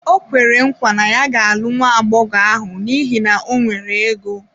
Ọ kwere nkwa na ya ga-alụ nwa agbọghọ ahụ n’ihi na o nwere ego.